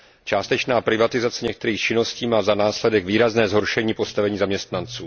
Částečná privatizace některých činností má za následek výrazné zhoršení postavení zaměstnanců.